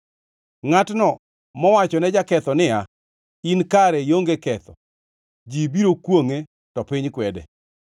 Ngʼatno mowachone jaketho niya, “In kare ionge ketho” ji biro kwongʼe to piny kwede.